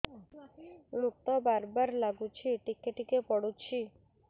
ମୁତ ବାର୍ ବାର୍ ଲାଗୁଚି ଟିକେ ଟିକେ ପୁଡୁଚି